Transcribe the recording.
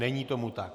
Není tomu tak.